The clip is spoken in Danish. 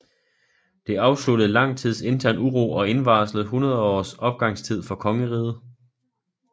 Det afsluttede lang tids intern uro og indvarslede 100 års opgangstid for kongeriget